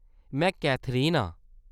में कैथरीन आं